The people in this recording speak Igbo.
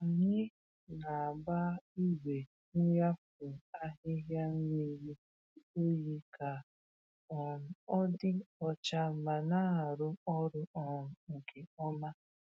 Ànyị na-agba igwe nnyafu ahịhịa mmiri oyi ka um ọ dị ọcha ma na-arụ ọrụ um nke ọma.